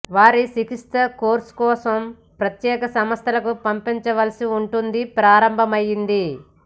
వారు చికిత్స కోర్సు కోసం ప్రత్యేక సంస్థలకు పంపవలసి వుంటుంది ప్రారంభమైంది